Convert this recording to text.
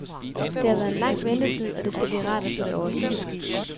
Det har været en lang ventetid, og det skal blive rart at få det overstået.